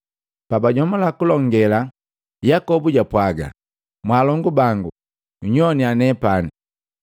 Pabajomula kulonge, Yakobu japwaga, “Mwaalongu bangu, nyowannya nepani!